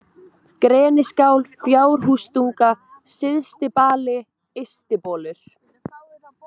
Greniskál, Fjárhústunga, Syðstibali, Ystibolur